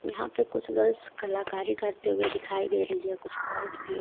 यहां पर कुछ गर्ल्स कलाकारी करते हुए दिखाई दे रही है कुछ बॉयज भी है।